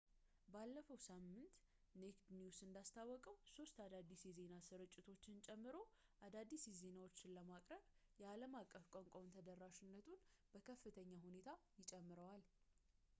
ባለፈው ሳምንት ኔክድ ኒውስ እንዳስታወቀው ሶስት አዳዲስ የዜና ስርጭቶችን ጨምሮ አዳዲስ ዜናዎችን ለማቅረብ የአለም አቀፍ ቋንቋውን ተደራሽነቱን በከፍተኛ ሁኔታ ይጨምራል